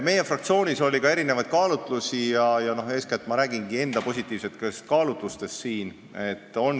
Meie fraktsioonis oli erinevaid kaalutlusi ja eeskätt ma räägingi siin enda positiivsetest kaalutlustest.